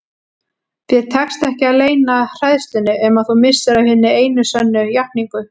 Þér tekst ekki að leyna hræðslunni um að þú missir af hinni einu sönnu játningu.